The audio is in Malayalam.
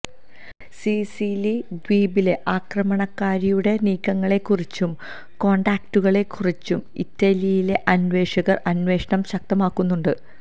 സിസിലി ദ്വീപിലെ ആക്രമണകാരിയുടെ നീക്കങ്ങളെക്കുറിച്ചും കോണ്ടാക്റ്റുകളെക്കുറിച്ചും ഇറ്റലിയിലെ അന്വേഷകര് അന്വേഷണം ശക്തമാക്കുന്നുണ്ട്